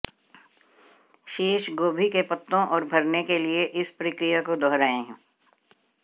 शेष गोभी के पत्तों और भरने के लिए इस प्रक्रिया को दोहराएं